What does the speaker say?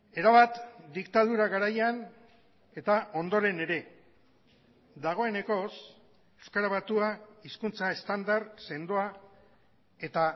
erabat diktadura garaian eta ondoren ere dagoenekoz euskara batua hizkuntza estandar sendoa eta